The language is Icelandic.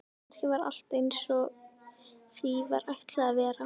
Kannski var allt einsog því var ætlað að vera.